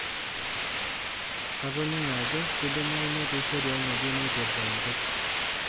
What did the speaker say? Atoning'o ajo keidimayu netii sheria ng'ejuk naipirrta enkop.